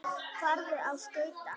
Farðu á skauta.